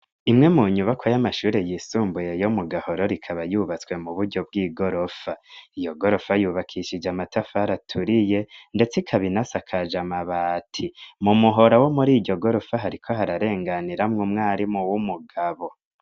Imwe mu nyubako y'amashuri yisumbuye yo mu Gahoro ikaba yubatswe mu buryo bw'igorofa, iyo gorofa yubakishije amatafari aturiye ndetse ikabinasakaje amabati mu muhora wo muriyo gorofa hariko hararenganiramwo umwarimu w'umugabo.